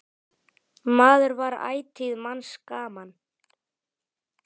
Maður var ætíð manns gaman.